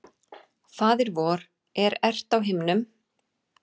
Faðir vor, er ert á himnum.